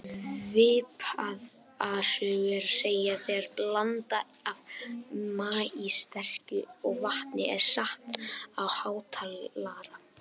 Svipaða sögu er að segja þegar blanda af maíssterkju og vatni er sett á hátalara.